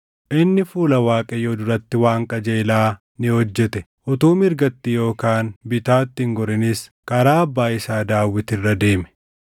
Inni fuula Waaqayyoo duratti waan qajeelaa ni hojjete; utuu mirgatti yookaan bitaatti hin gorinis karaa abbaa isaa Daawit irra deeme.